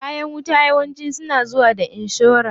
Kayan wuta yawanci suna zuwa da inshora.